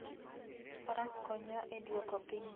Faras konyo e duoko piny chien